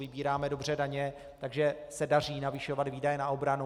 Vybíráme dobře daně, takže se daří navyšovat výdaje na obranu.